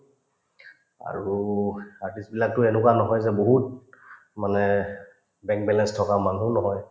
আৰু artist বিলাকতো এনেকুৱা নহয় যে বহুত মানে bank balance থকা মানুহো নহয়